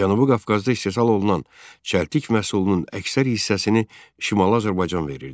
Cənubi Qafqazda istehsal olunan çəltik məhsulunun əksər hissəsini Şimali Azərbaycan verirdi.